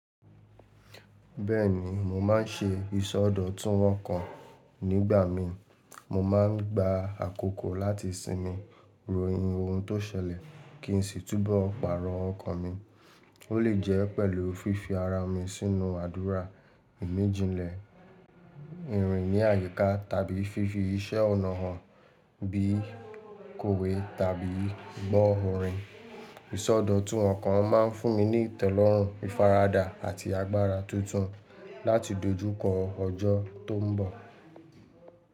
Bẹ́ẹ̀ni, mo má n ṣe ìsọdọ̀tun ọkàn nígbà mí. Mo má n gba àkókò láti sinmi, ro ohun tó ṣẹlẹ̀, kí n sì túbọ̀ pàrọ̀ ọkàn mi. Ó lè jẹ́ pẹ̀lú fífi ara mi sínú àdúrà ìmijìnlẹ́, ìrìn ní àyíká tàbí fífi iṣẹ́ ọnà hàn bí i kòwe tàbí gbọ́ orin. Ìsọdọ̀tun ọkàn má n fún mi ní ìtelọ́rùn, ìfaradà àti agbára tuntun láti dojúkọ ọjọ́ tó ń bọ̀.